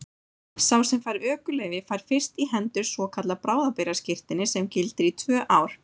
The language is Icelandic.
Sá sem fær ökuleyfi fær fyrst í hendur svokallað bráðabirgðaskírteini sem gildir í tvö ár.